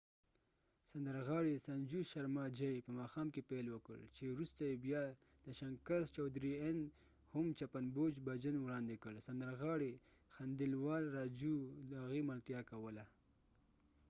سندرغاړي sanju sharma په ماښام کې پیل وکړ چې وروسته یې بیا jai shankar choudhary n د chappan bhog bhajan هم وړاندې کړ سندرغاړي raju khandelwal د هغې ملتیا کوله